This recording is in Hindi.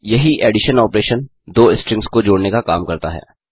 यही एडिशन ऑपरेशन दो स्ट्रिंग्स को जोड़ने का काम करता है